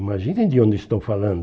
Imaginem de onde estou falando.